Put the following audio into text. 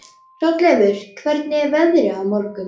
Hrolleifur, hvernig er veðrið á morgun?